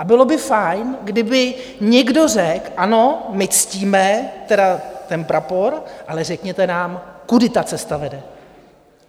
A bylo by fajn, kdyby někdo řekl: Ano, my ctíme ten prapor, ale řekněte nám, kudy ta cesta vede.